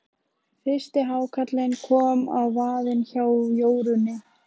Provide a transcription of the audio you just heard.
Fyrsti hákarlinn kom á vaðinn hjá Jórunni.